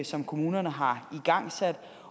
som kommunerne har igangsat